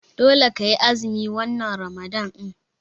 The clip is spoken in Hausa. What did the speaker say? Dole kai azumi wannan Ramalan ɗin.